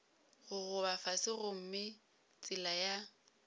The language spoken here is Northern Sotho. gogoba fase gomme tsela ya